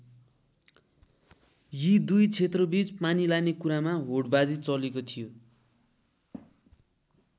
यी दुई क्षेत्रबीच पानी लाने कुरामा होडबाजी चलेको थियो।